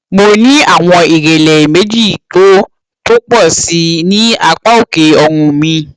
mo ní àwọn ìrẹlẹ méjì tó tó pọ sí i ní apá òkè ọrùn mi